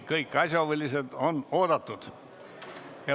Kõik asjahuvilised on oodatud.